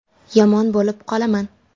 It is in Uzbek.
Yomon bo‘lib qolaman.